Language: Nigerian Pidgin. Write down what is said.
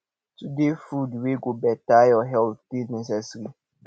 to dey food wey go beta your health dey necessary